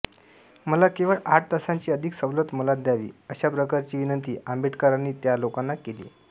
मला केवळ आठ तासांची अधिक सवलत मला द्यावी अशा प्रकारची विनंती आंबेडकरांनी त्या लोकांना केली